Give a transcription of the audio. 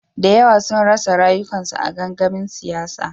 Da yawa sun rasa rayukansu a gangamin siyasa.